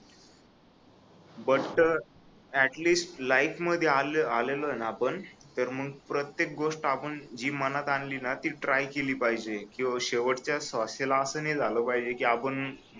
but at least life मध्ये आलेलोय ना आपण तर मग प्रत्येक गोष्ट जी मनात आली ना ती ट्राय केली पाहिजे किंवा शेवटच्या श्वासाला अस झाल नाही पाहिजे की आपण